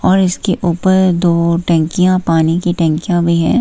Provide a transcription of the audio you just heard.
और इसके ऊपर दो टंकियां पानी की टंकियां भी हैं।